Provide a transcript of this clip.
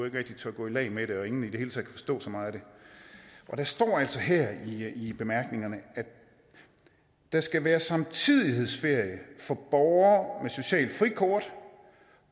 ikke rigtig tør gå i lag med det og ingen i det hele taget kan forstå så meget af det der står altså her i bemærkningerne der skal være samtidighedsferie for borgere med socialt frikort